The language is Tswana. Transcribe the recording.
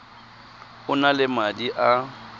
o na le madi a